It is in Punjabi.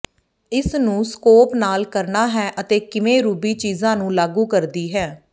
ਇਸ ਨੂੰ ਸਕੋਪ ਨਾਲ ਕਰਨਾ ਹੈ ਅਤੇ ਕਿਵੇਂ ਰੂਬੀ ਚੀਜ਼ਾਂ ਨੂੰ ਲਾਗੂ ਕਰਦੀ ਹੈ